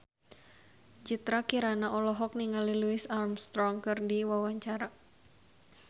Citra Kirana olohok ningali Louis Armstrong keur diwawancara